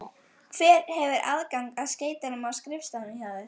Hver hefur aðgang að skeytunum á skrifstofunni hjá þér?